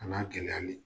A n'a gɛlɛyali